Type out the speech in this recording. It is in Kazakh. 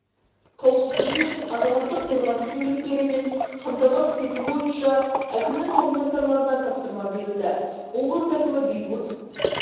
қауіпсіздігі үшін азаматтық қорғаныс мүліктерімен қамтамасыз ету бойынша әкімнің орынбасарларына тапсырма берілді облыс әкімі бейбут